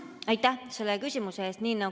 Aitäh selle küsimuse eest!